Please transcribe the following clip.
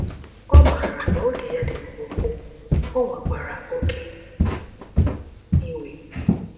Ọ maara na oge ya dị mkpụmkpụ, o nwekwara “oke iwe.”